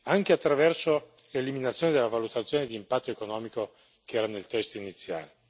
anche attraverso l'eliminazione della valutazione di impatto economico che era nel testo iniziale.